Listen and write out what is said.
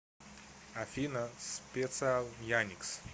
афина специал яникс